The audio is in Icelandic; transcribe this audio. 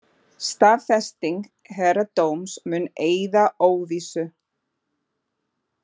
Staðfesting héraðsdóms mun eyða óvissu